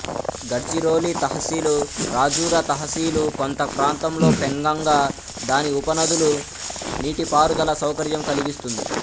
గడ్చిరోలి తహ్సిలు రాజురా తహసిలు కొంత ప్రాంతంలో పెంగంగా దాని ఉపనదులు నీటిపారుదల సౌకర్యం కలిగిస్తుంది